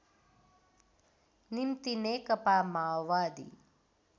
निम्ति नेकपा माओवादी